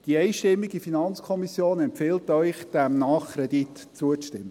Die einstimmige FiKo empfiehlt Ihnen, diesem Nachkredit zuzustimmen.